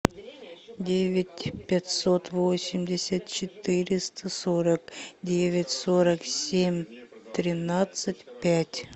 девять пятьсот восемьдесят четыреста сорок девять сорок семь тринадцать пять